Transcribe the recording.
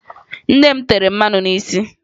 Nne m tere mmanụ n'isi ya